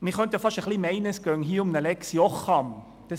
Man könnte fast meinen, es ginge hier um eine «Lex Jocham».